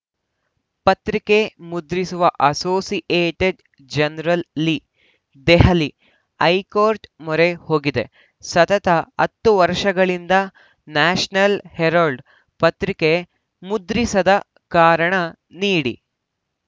ಪತ್ರಿಕೆ ಮುದ್ರಿಸುವ Associated Journal ಲಿ ದೆಹಲಿ ಹೈಕೋರ್ಟ್‌ ಮೊರೆ ಹೋಗಿದೆ ಸತತ ಹತ್ತು ವರ್ಷಗಳಿಂದ ನ್ಯಾಷನಲ್‌ ಹೆರಾಲ್ಡ್‌ ಪತ್ರಿಕೆ ಮುದ್ರಿಸದ ಕಾರಣ ನೀಡಿ